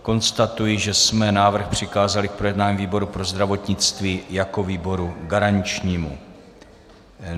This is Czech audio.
Konstatuji, že jsme návrh přikázali k projednání výboru pro zdravotnictví jako výboru garančnímu.